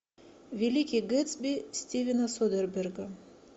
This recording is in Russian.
великий гэтсби стивена содерберга